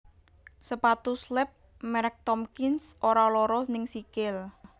Sepatu slep merk Tomkins ora loro ning sikil